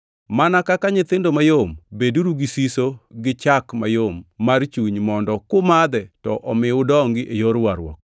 Mana kaka nyithindo mayom, beduru gi siso gi chak mayom mar chuny mondo kumadhe to omi udongi e yor warruok,